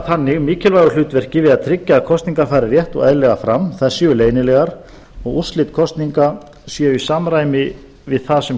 þannig mikilvægu hlutverki við að tryggja að kosningar fari rétt og eðlilega fram þær séu leynilegar og úrslit kosninga séu í samræmi við það sem